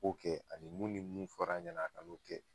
K'o kɛ ani mun ni mun fɔra a ɲɛna a ka n'o kɛ.